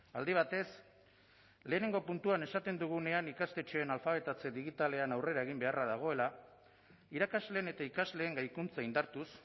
aldi batez lehenengo puntuan esaten dugunean ikastetxeen alfabetatze digitalean aurrera egin beharra dagoela irakasleen eta ikasleen gaikuntza indartuz